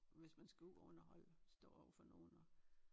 Hvis man skal ud og underholde stå overfor nogen og